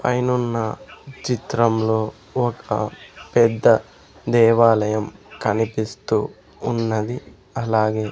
పైనున్న చిత్రంలో ఒక పెద్ద దేవాలయం కనిపిస్తూ ఉన్నది అలాగే--